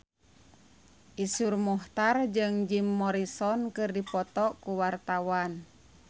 Iszur Muchtar jeung Jim Morrison keur dipoto ku wartawan